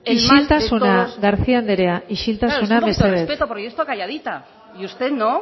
en todos isiltasuna garcía anderea isiltasuna mesedez un poco de respeto porque yo he estado calladita y usted no